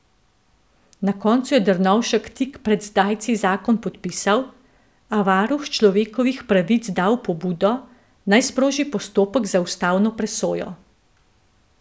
Na koncu je Drnovšek tik pred zdajci zakon podpisal, a varuhu človekovih pravic dal pobudo, naj sproži postopek za ustavno presojo.